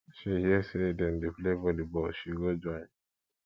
she hear sey dem dey play volleyball she go join